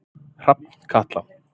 Hrafnkatla